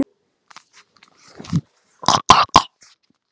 Grænt hvað?